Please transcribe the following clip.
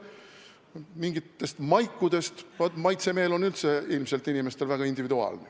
Kui rääkida mingitest maikudest, siis vaat, maitsemeel on inimestel üldse väga individuaalne.